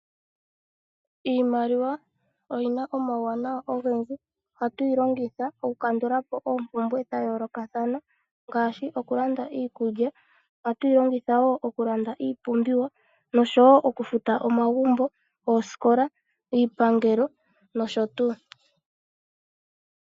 Iimaliwa oyina omauwanawa ogendji, ohatu yi longitha oku kandulapo oompumbwe dha yooloka thana ngaashi okulanda iikulya ohatu yi longitha woo oku landa iipumbiwa noshowo okufuta omagumbo, oosikola iipangelo nosho tuu.